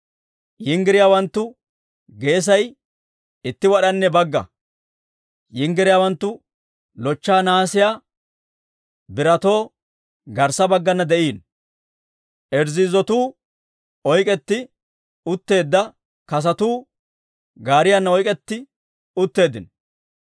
Yinggiriyaawanttu geesay itti wad'anne bagga; yinggiriyaawanttu lochcha nahaasiyaa biratatoo garssa baggana de'iino. Irzzizotuu oyk'k'etti utteedda kasotuu gaariyaana oyk'k'etti utteeddino.